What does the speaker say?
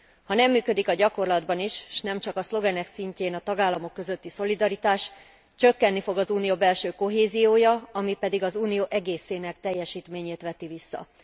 Ha nem működik a gyakorlatban is, s nem csak a szlogenek szintjén a tagállamok közötti szolidaritás, csökkeni fog az Unió belső kohéziója, ami pedig az Unió egészének teljesítményét veti vissza.